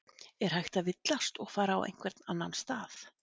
Er hægt að villast og fara á einhvern annan stað?